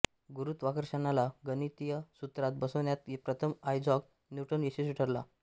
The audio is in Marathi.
गुरुत्वाकर्षणाला गणितीय सूत्रात बसवण्यात प्रथम आयझॅक न्यूटन यशस्वी ठरला